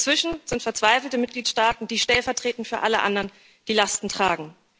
Dazwischen sind verzweifelte Mitgliedstaaten, die stellvertretend für alle anderen die Lasten tragen.